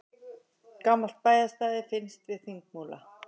Gamalt bæjarstæði finnst við Þingmúla